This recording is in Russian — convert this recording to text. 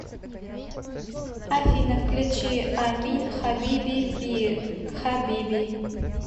афина включи амин хабиби би хаби